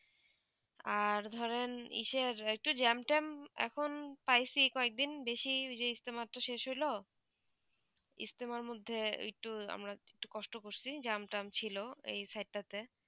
আর ধরেন ঈসার একটু জ্যাম তাম এখন প্রায়ই চি কি এক দিন বেশি যে ইষ্টমত শেষ হলো ইস্টার মদদে ঐই তো আমরা একটু কষ্টম করতেছি জাম তাম ছিল এই সাইড তা তে